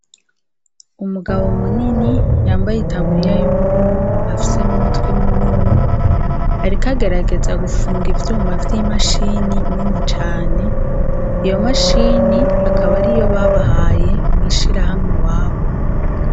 Umugabo munini yambaye itaburiya y'ubururu, afise numutwe munini ariko agerageza gupfunga ivyuma vyimashini nini cane, iyo mashini akaba ari iyo babahaye mwishirahamwe iwabo.